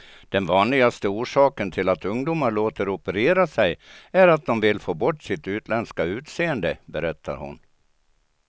Den vanligaste orsaken till att ungdomar låter operera sig är att de vill få bort sitt utländska utseende, berättar hon.